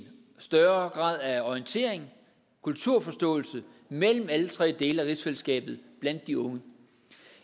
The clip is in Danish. større grad af orientering og kulturforståelse mellem alle tre dele af rigsfællesskabet blandt de unge